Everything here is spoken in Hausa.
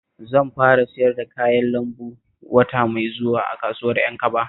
Zan fara siyar da kayan lambu wata mai zuwa a kasuwar Ƴankaba